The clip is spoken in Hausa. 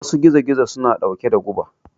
Wasu gizo gizo suna ɗauke da guba